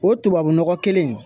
O tubabu nɔgɔ kelen in